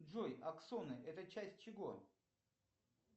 джой аксоны это часть чего